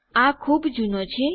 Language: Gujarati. આ ખુબ જુનો છે